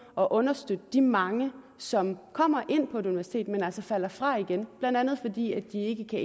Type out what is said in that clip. at understøtte de mange som kommer ind på et universitet men som altså falder fra igen blandt andet fordi de ikke kan